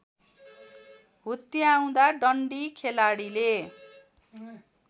हुत्याउँदा डन्डी खेलाडीले